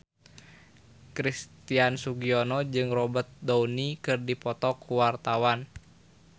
Christian Sugiono jeung Robert Downey keur dipoto ku wartawan